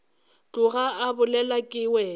tloga a bolelwa ke wena